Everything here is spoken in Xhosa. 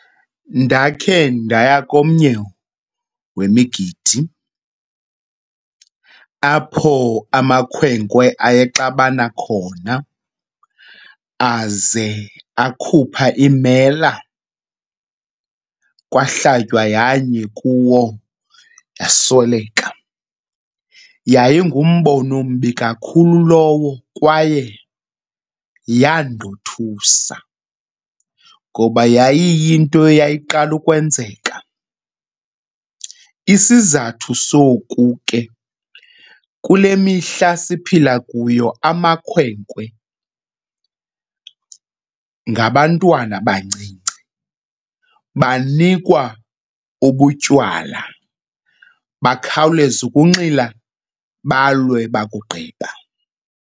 Ndakhe ndaya komnye wemigidi apho amakhwenkwe ayexabana khona aze akhupha iimela kwahlatywa yanye kuwo, wasweleka. Yayingumbono ombi kakhulu lowo kwaye yandothusa ngoba yayiyinto eyayiqala ukwenzeka. Isizathu soku ke, kule mihla siphila kuyo amakhwenkwe ngabantwana abancinci, banikwa ubutywala bakhawuleze ukunxila balwe bakugqiba.